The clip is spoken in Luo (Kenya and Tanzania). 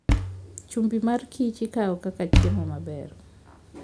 Chumbi mar Kich ikawo kaka chiemo maber.